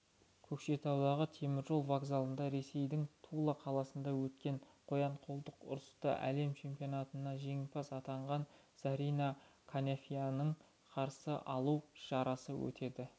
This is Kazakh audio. көкшетаудағы теміржол вокзалында ресейдің тула қаласында өткен қоян-қолтық ұрыстан әлем чемпионатында жеңімпаз атанған зарина қанафинаны қарсы алу шарасы өтеді